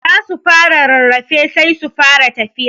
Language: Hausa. Za su fara rarrafe sai su fara tafiya.